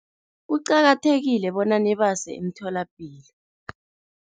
Kuqakathekile bona nibase emtholapilo.